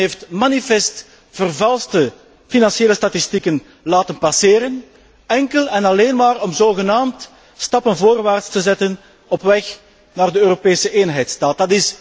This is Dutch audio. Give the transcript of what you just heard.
Men heeft manifest vervalste financiële statistieken laten passeren, enkel en alleen maar om zogenaamd stappen voorwaarts te zetten op weg naar de Europese eenheidsstaat.